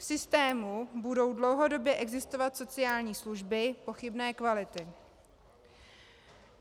V systému budou dlouhodobě existovat sociální služby pochybné kvality.